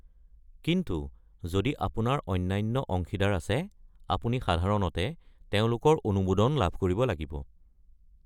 কিন্তু যদি আপোনাৰ অন্যান্য অংশীদাৰ আছে, আপুনি সাধাৰণতে তেওঁলোকৰ অনুমোদন লাভ কৰিব লাগিব।